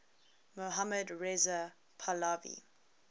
mohammad reza pahlavi